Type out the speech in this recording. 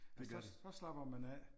Og så så slapper man af